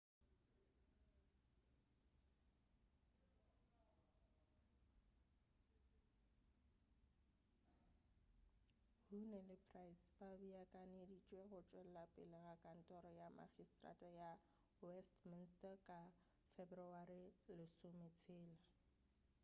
huhne le pryce ba beakanyeditšwe go tšwelela pele ga kantoro ya makgiseterata ya westminster ka feberewari 16